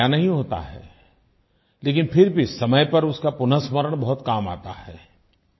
नया नहीं होता है लेकिन फिर भी समय पर उसका पुनःस्मरण बहुत काम आता है